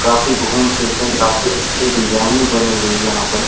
काफी घूम फिर के काफी अच्छे डीजाइन में बने हुए यहाँ पर।